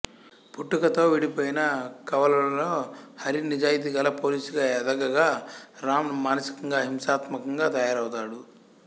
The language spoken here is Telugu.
పుట్టుకతో విడిపోయిన కవలలులో హరి నిజాయితీగల పోలీసుగా ఎదగగా రామ్ మానసికంగా హింసాత్మకంగా తయారవుతాడు